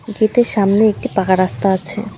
গেটের সামনে একটি পাকা রাস্তা আছে।